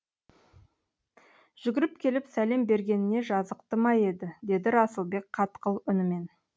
жүгіріп келіп сәлем бергеніне жазықты ма еді деді расылбек қатқыл үнімен